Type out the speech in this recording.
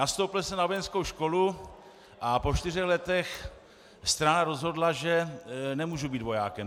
Nastoupil jsem na vojenskou školu a po čtyřech letech strana rozhodla, že nemůžu být vojákem.